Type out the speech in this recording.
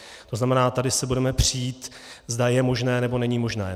To znamená, tady se budeme přít, zda je možné, nebo není možné.